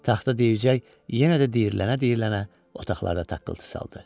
Taxta deyəcək, yenə də deyinə-deyinə otaqlarda taqqıltı saldı.